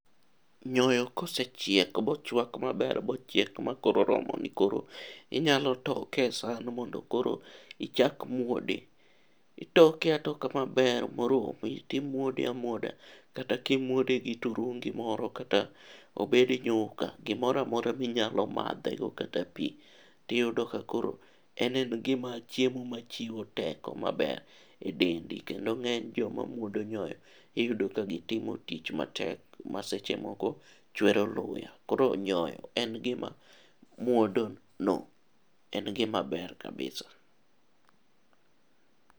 Nyoyo kosechiek bochwak maber , mochiek ma koro oromo ni koro inyalo toke e saan, mondo koro ichak muode .Itoke atoka maber moromi, timuode amuoda kata kimuode gi turungi moro kata obed nyuka, gimoro amora ma inyalo madhego kata pii. Tiyudo ka koro en en gima chiemo machiwo teko maber e dendi, kendo ng'eny joma muodo nyoyo, iyudo ka gitimo tich matek ma seche moko chwero luya. Koro nyoyo en gima muodono, en gima ber kabisa.